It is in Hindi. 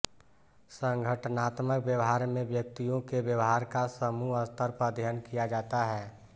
संगठनात्मक व्यवहार में व्यक्तियों के व्यवहार का समूह स्तर पर अध्ययन किया जाता है